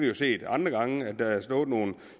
jo set andre gange at der har stået nogle